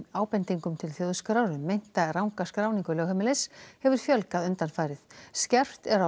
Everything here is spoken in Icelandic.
ábendingum til Þjóðskrár um meinta ranga skráningu lögheimilis hefur fjölgað undanfarið skerpt er á